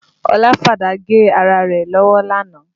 Ọlá fàdá gé ara rẹ̀ lọ́wọ́ lánàá